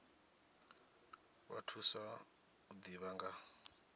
vha thusa u ḓivha nga